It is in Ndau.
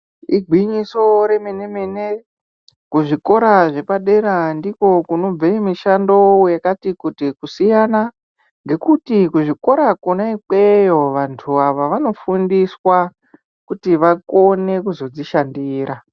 Igwinyiso remene-mene kuzvikora zvepadera ndikwo kunobve mishando yekati kuti kusiyana ngekuti kuzvikora kona imweyo vantu ava vanofundiswa kuti vakone kuzozvishandira.